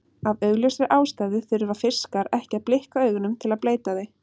Af augljósri ástæðu þurfa fiskar ekki að blikka augunum til að bleyta þau.